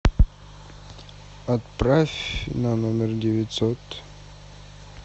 отправь на номер девятьсот